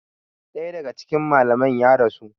Daya daga cikin malaman ya rasu.